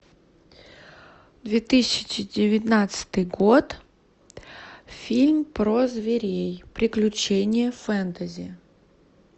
две тысячи девятнадцатый год фильм про зверей приключения фэнтези